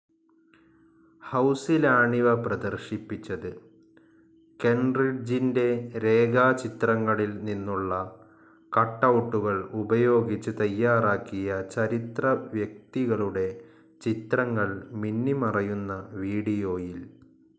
ഹൗസിലാണിവ പ്രദർശിപ്പിച്ചത്. കെൻറിഡ്ജിൻറെ രേഖാചിത്രങ്ങളിൽ നിന്നുള്ള കട്ടൗട്ടുകൾ ഉപയോഗിച്ച് തയ്യാറാക്കിയ ചരിത്രവ്യക്തികളുടെ ചിത്രങ്ങൾ മിന്നിമറയുന്ന വീഡിയോയിൽ